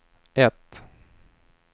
ett